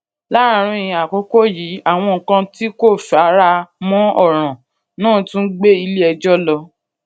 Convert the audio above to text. láàárín àkókò yìí àwọn kan tí kò fara mó òràn náà tún gbé ilé ẹjọ lọ